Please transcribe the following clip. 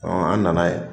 an na na ye